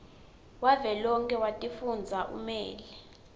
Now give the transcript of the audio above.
wavelonkhe wetifundza umele